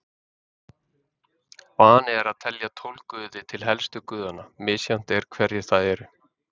Vani er að telja tólf guði til helstu guðanna, misjafnt er hverjir það eru.